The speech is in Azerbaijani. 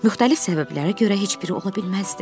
Müxtəlif səbəblərə görə heç biri ola bilməzdi.